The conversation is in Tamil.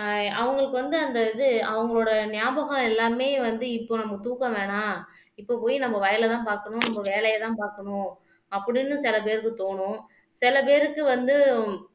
ஆஹ் அவங்களுக்கு வந்து அந்த இது அவங்களோட ஞாபகம் எல்லாமே வந்து இப்போ நம்ம தூக்கம் வேணாம் இப்போ போய் நம்ம வயலைதான் பார்க்கணும் நம்ம வேலையைதான் பார்க்கணும் அப்படின்னு சில பேருக்கு தோணும் சில பேருக்கு வந்து